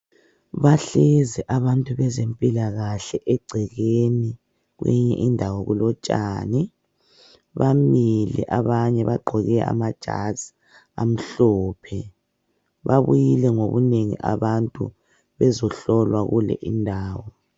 Bahlezi abantu bezempilakahle egcekeni kwenye indawo kulotshani bamile abanye bagqoke amajazi amhlophe babuyile ngobunengi abantu bezohlolwa kule indawo.